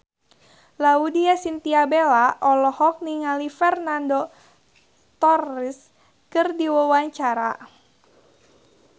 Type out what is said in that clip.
Laudya Chintya Bella olohok ningali Fernando Torres keur diwawancara